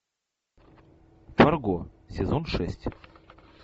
фарго сезон шесть